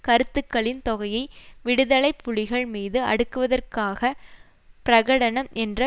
கருத்துக்களின் தொகையை விடுதலை புலிகள் மீது அடுக்குவதற்காக பிரகடனம் என்ற